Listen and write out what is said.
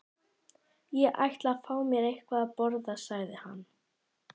Ég ætla að fá mér eitthvað að borða sagði hann.